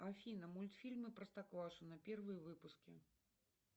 афина мультфильмы простоквашино первые выпуски